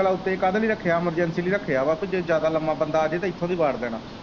ਭਲਾ ਉੱਤੇ ਕਾਹਦੇ ਲਈ ਰੱਖਿਆ emergency ਲਈ ਰੱਖਿਆ ਵਾ ਕਿ ਜੇ ਜ਼ਿਆਦਾ ਲੰਮਾ ਬੰਦਾ ਅਜੇ ਤੇ ਇਥੋਂ ਦੀ ਵਾੜ ਦੇਣਾ।